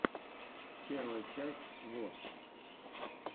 первая часть вос